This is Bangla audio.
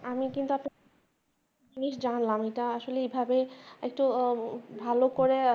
আমি কিন্তু একটা জিনিস জানলাম এটা আসলে এইভাবে একটু ভালো করে